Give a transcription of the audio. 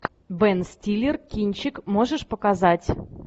бен стиллер кинчик можешь показать